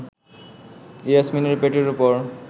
ইয়াসমিনের পেটের ওপর